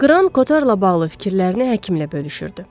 Qran Kotarla bağlı fikirlərini həkimlə bölüşürdü.